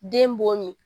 Den bon